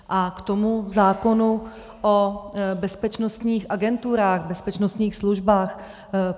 A k tomu zákonu o bezpečnostních agenturách, bezpečnostních službách.